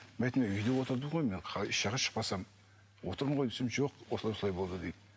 мен айтамын үйде отырдым ғой еш жаққа шықпасам отырмын ғой десем жоқ осылай осылай болды дейді